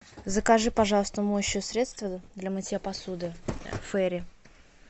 закажи пожалуйста моющее средство для мытья посуды фэри